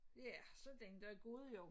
Ja så den dag gået jo